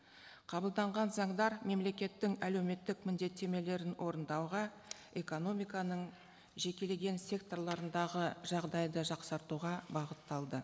қабылданған заңдар мемлекеттің әлеуметтік міндеттемелерін орындауға экономиканың жекелеген секторларындағы жағдайды жақсартуға бағытталды